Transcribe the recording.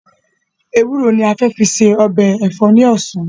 Ewúro ni a fẹ fi se ọbẹ̀ ẹ̀fọ́ ni ọ̀sán